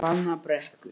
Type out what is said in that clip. Hvannabrekku